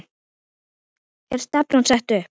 Er stefnan sett upp?